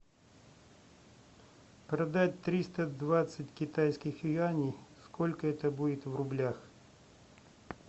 продать триста двадцать китайских юаней сколько это будет в рублях